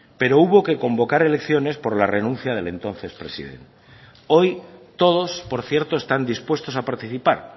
pero hubo que convocar elecciones por la renuncia del entonces president hoy todos por cierto están dispuestos a participar